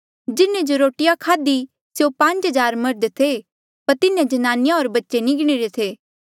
जिन्हें जे रोटिया खाध्ही स्यों पांज हज़ार मर्ध थे पर तिन्हें ज्नानिया होर बच्चे नी गिणीरे थे